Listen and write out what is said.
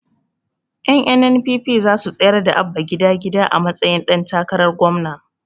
Ƴan NNPP zasu tsayar da Abba gida gida a matsayin ɗan takarar gwamna